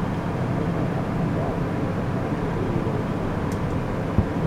Amu nee al_shabab Somalia kowire hotelisiek?